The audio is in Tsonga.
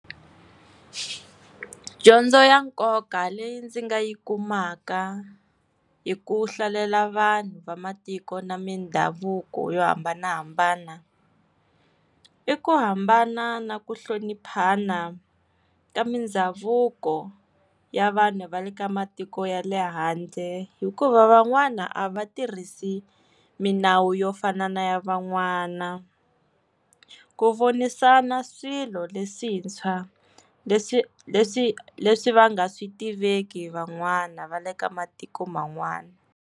Dyondzo ya nkoka leyi ndzi nga yi kumaka hi ku hlalela vanhu va matiko na mindhavuko yo hambanahambana, i ku hambana na ku hloniphana ka mindhavuko ya vanhu va le ka matiko ya le handle, hikuva van'wana a va tirhisi minawu yo fana ya van'wana. Ku vonisana swilo leswintshwa leswi leswi leswi va nga swi tiveki van'wana va le ka matiko man'wana.